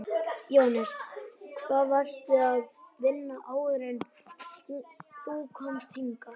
Jóhannes: Hvar varstu að vinna áður en þú komst hingað?